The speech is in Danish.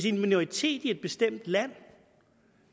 en minoritet i et bestemt land